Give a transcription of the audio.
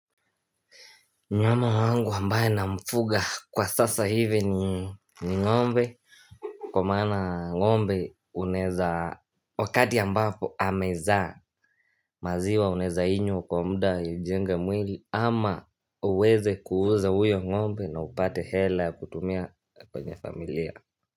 Mnyama wangu ambaye namfuga kwa sasa hivi ni ngombe Kwa maana ngombe unaeza Wakati ambapo amezaa maziwa unaeza inywa kwa muda ujenge mwili ama uweze kuuza uyo ngombe na upate hela ya kutumia kwenye familia.